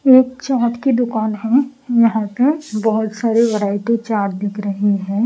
एकचार्ट की दुकान है यहां पे बहुत सारी वैरायटी चार्ट दिख रही है।